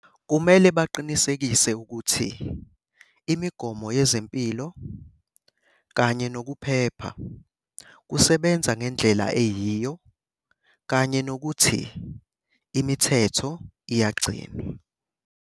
Kumele baqinisekise ukuthi imigomo yezempilo kanye nokuphepha kusebenza ngendlela eyiyo kanye nokuthi imithetho iyagcinwa.